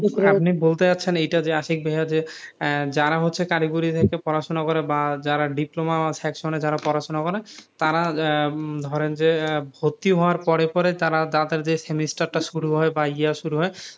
আপনি বলতে চাইছেন এটা যে আশিক ভাইয়া যে যারা হচ্ছে কারিগরি পড়াসোনা করে বা যারা diploma section এ যারা পড়াশোনা করে তারা ধরেন যে ভর্তি হওয়ার পরে পরে তারা তাদের semester টা শুরু হয় বা ইয়ে শুরু হয়,